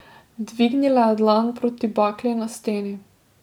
Dvignila je dlan proti bakli na steni.